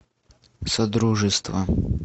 содружество